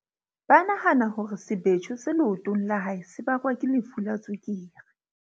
Ba nahana hore sebetjho se leotong la hae se bakwa ke lefu la tswekere.